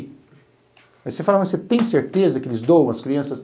Aí você fala, mas você tem certeza que eles doam as crianças?